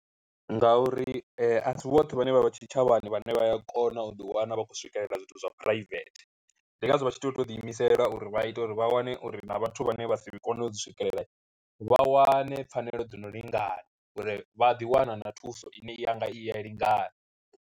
Nga uri asi vhoṱhe vhane vha vha tshitshavhani vhane vhaya kona u ḓiwana vha khou swikelela zwithu zwa private, ndi ngazwo vha tshi tea u to ḓi imisela uri vha ite uri vha wane uri na vhathu vhane vha si kone u dzi swikelela vha wane pfhanelo dzo no lingana uri vha a ḓiwana na thuso ine yanga i ya lingana.